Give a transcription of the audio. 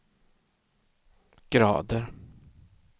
grader